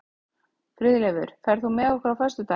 Friðleifur, ferð þú með okkur á föstudaginn?